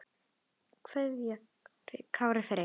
kveðja Kári Freyr.